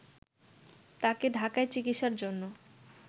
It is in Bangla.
তাকে ঢাকায় চিকিৎসার জন্য